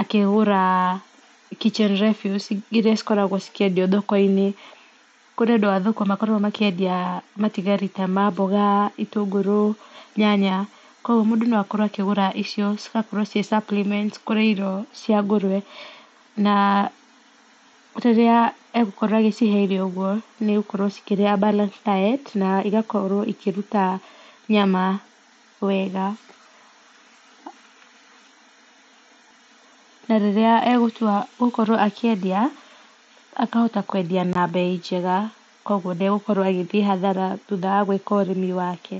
akĩgũra kitchen refuse iria ikoragwo ikĩendio thoko-inĩ, kũrĩ andũ a thoko makoragwo makĩendia matigari ta maboga, gĩtũngũrũ, nyanya, kwoguo mũndũ no akorwo akĩgũra icio cigakorwo cirĩ supplement cia ngũrwe. Na rĩrĩa egũkorwo agĩcihe irio ũguo agũkorwo agĩcihe balanced diet na igakorwo ikĩruta nyama wega na rĩrĩa agũtua gũkorwo akĩendia akahota kwendia na mbei njega kwoguo ndagũkorwo agĩthiĩ hathara thutha wa gwĩka ũrĩmi wake.